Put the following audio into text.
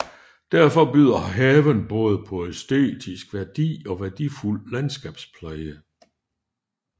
Derfor byder haven både på æstetisk værdi og værdifuld landskabspleje